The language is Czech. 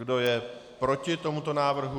Kdo je proti tomuto návrhu?